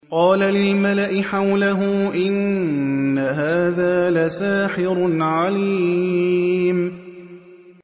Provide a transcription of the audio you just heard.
قَالَ لِلْمَلَإِ حَوْلَهُ إِنَّ هَٰذَا لَسَاحِرٌ عَلِيمٌ